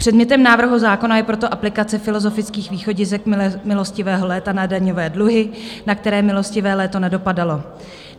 Předmětem návrhu zákona je proto aplikace filozofických východisek milostivého léta na daňové dluhy, na které milostivé léto nedopadalo.